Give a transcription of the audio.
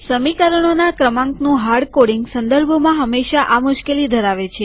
સમીકરણોના ક્રમાંકનું હાર્ડકોડીંગ સંદર્ભોમાં હંમેશા આ મુશ્કેલી ધરાવે છે